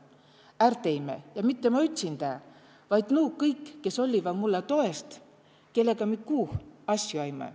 Är teime ja mitte ma ütsindä, vaid nuu kõik, kes olliva mulle toest, kellega mi kuuh asju aime.